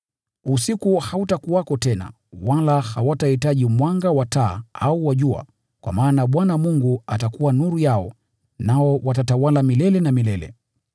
Usiku hautakuwako tena, wala hawatahitaji mwanga wa taa au wa jua, kwa maana Bwana Mungu atakuwa nuru yao, nao watatawala milele na milele.